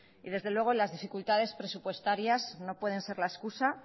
las dificultades presupuestarias no pueden ser la excusa